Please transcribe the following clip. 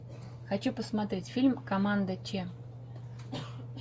хочу посмотреть фильм команда че